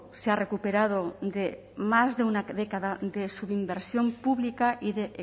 se ha recuperado de más de una década de su inversión pública y de